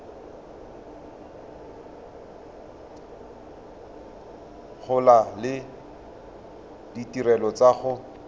gola le ditirelo tsa go